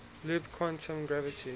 loop quantum gravity